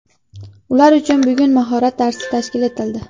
Ular uchun bugun mahorat darsi tashkil etildi.